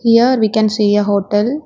Here we can see a hotel.